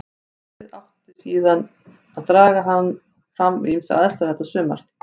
Heftið átti hann síðan eftir að draga fram við ýmsar aðstæður þetta sumar.